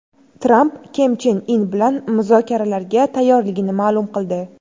Tramp Kim Chen In bilan muzokaralarga tayyorligini ma’lum qildi.